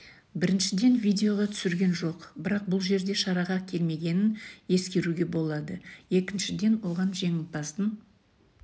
біріншіден видеоға түсірген жоқ бірақ бұл жерде шараға келмегенін ескеруге болады екіншіден оған жеңімпаздың